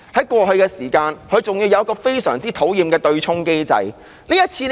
過去，還有一個非常討厭的對沖機制。